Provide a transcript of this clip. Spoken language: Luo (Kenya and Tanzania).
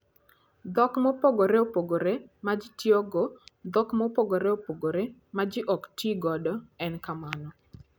Dhok Mopogore Opogore ma Ji Tiyogo: Dhok mopogore opogore ma ji ok ti godo e okang' mamalo.